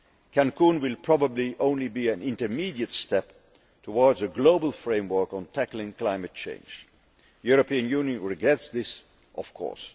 Cancún will probably only be an intermediate step towards a global framework on tackling climate change. The European Union regrets this of course.